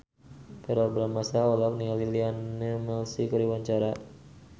Verrell Bramastra olohok ningali Lionel Messi keur diwawancara